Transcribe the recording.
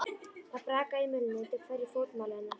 Það brakaði í mölinni undir hverju fótmáli hennar.